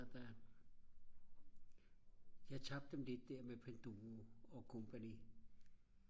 jeg tabte dem lidt der med Panduro og company